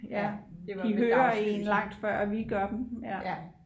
de hører en langt før vi gør